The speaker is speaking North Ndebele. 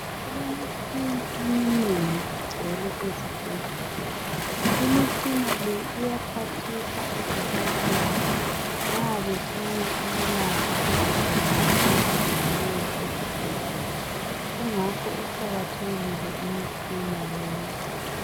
Kulemitshina eminengi egcwele ezibhedlela. Imitshina le iyaphathisa oDokotela nxa befuna ukulapha izigulane ezibuyileyo esibhedlela. Kungakho iqakathekile imitshina le.